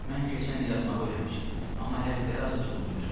Mən keçən il yazmağı öyrənmişəm, amma hərfləri azacaq unutmuşam.